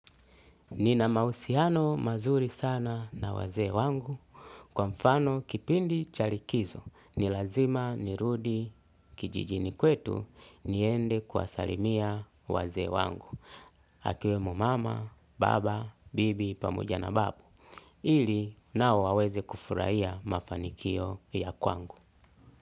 Nina mausiano mazuri sana na wazee wangu, kwa mfano kipindi chalikizo, nilazima nirudi kijijini kwetu, niende kwawasalimia wazee wangu, akiwe mama, baba, bibi, pamoja na babu, ili nao waweze kufurahiya mafanikio ya kwangu.